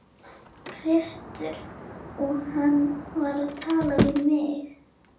Kristur og hann var að tala við mig.